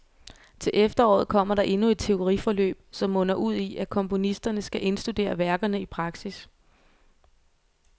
Til efteråret kommer der endnu et teoriforløb, som munder ud i, at komponisterne skal indstudere værkerne i praksis.